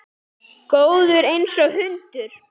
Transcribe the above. Góður einsog hundur.